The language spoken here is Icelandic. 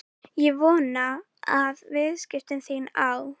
Ég vona að viðskipti þín á